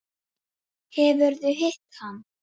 Tökum nokkrar dýfur!